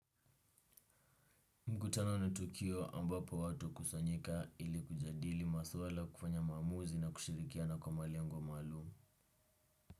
Kutana na tukio ambapo watu hukusanyika ili kujadili masuala kufanya maamuzi na kushirikiana kwa malengo wa maalum.